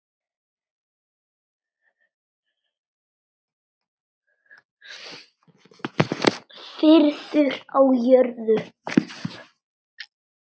Friður á jörðu.